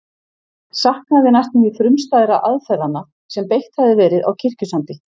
Saknaði næstum því frumstæðra aðferðanna sem beitt hafði verið á Kirkjusandi.